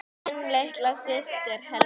Þín litla systir, Helga.